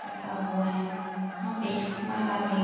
रखा हुआ है। यहाँ पे माला भी --